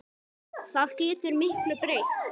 Það er algjör lygi.